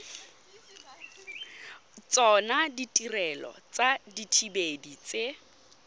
tsona ditirelo tsa dithibedi tse